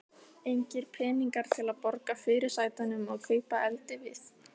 Engir peningar til að borga fyrirsætunum og kaupa eldivið.